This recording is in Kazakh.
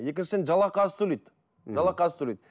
екіншіден жалақы аз төлейді жалақы аз төлейді